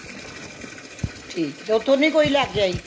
ਠੀਕ ਏ ਤੇ ਓਥੋਂ ਨਹੀਂ ਕੋਈ ਲੈ ਕੇ ਆਈ